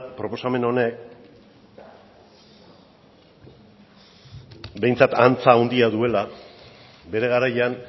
proposamen honek behintzat antza handia duela bere garaian